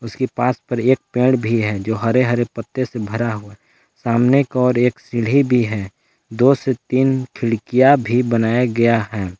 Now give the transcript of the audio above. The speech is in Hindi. इसके पास पर एक पेड़ भी है जो हरे हरे पत्ते से भरा हुआ सामने के और एक सीढ़ी भी है दो से तीन खिड़कियां भी बनाया गया है।